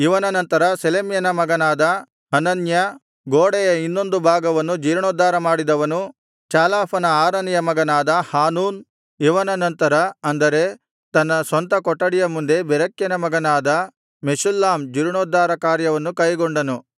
ಇವನ ನಂತರ ಶೆಲೆಮ್ಯನ ಮಗನಾದ ಹನನ್ಯ ಗೋಡೆಯ ಇನ್ನೊಂದು ಭಾಗವನ್ನು ಜೀರ್ಣೋದ್ಧಾರ ಮಾಡಿದವನು ಚಾಲಾಫನ ಆರನೆಯ ಮಗನಾದ ಹಾನೂನ್ ಇವನ ನಂತರ ಅಂದರೆ ತನ್ನ ಸ್ವಂತ ಕೊಠಡಿಯ ಮುಂದೆ ಬೆರೆಕ್ಯನ ಮಗನಾದ ಮೆಷುಲ್ಲಾಮ್ ಜೀರ್ಣೋದ್ಧಾರ ಕಾರ್ಯವನ್ನು ಕೈಗೊಂಡನು